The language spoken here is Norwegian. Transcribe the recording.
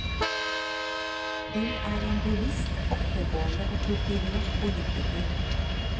Hun er en bevisst, oppegående og kultivert politiker.